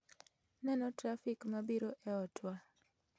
Neno trafik mabiro e otwa